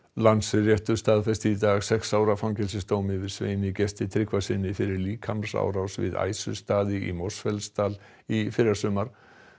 Landsréttur staðfesti í dag sex ára fangelsisdóm yfir Sveini Gesti Tryggvasyni fyrir líkamsárás við í Mosfellsdal í fyrrasumar